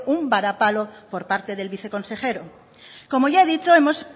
un varapalo por parte del viceconsejero como ya he dicho hemos